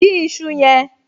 Dín iṣu yẹn!